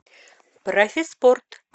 профиспорт